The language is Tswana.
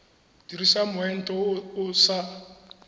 dirisa moento o o sa